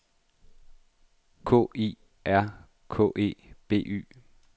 K I R K E B Y